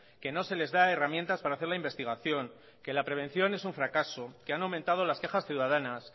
que no se les da herramientas para hacer la investigación que la prevención es un fracaso que han aumentado las quejas ciudadanas